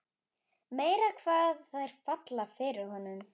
Meira hvað þær falla fyrir honum!